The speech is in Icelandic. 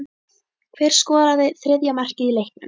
Hver skoraði þriðja markið í leiknum?